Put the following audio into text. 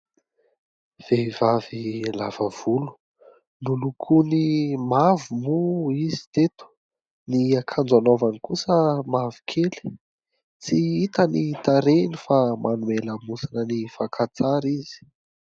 Vehivavy lava volo, nolokoiny mavo moa izy teto. Ny akanjo anaovany kosa mavokely. Tsy hita ny tarehiny fa manome lamosina ny fakantsara izy.